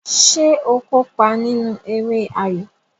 Ṣé o kópa nínú eré ayo?